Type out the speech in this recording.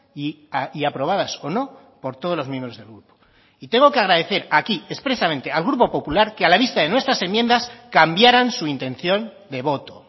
y aprobadas o no por todos los miembros del grupo tengo que agradecer aquí expresamente al grupo popular que a la vista de nuestras enmiendas cambiaran su intención de voto